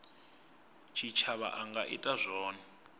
tshitshavha a nga ita zwone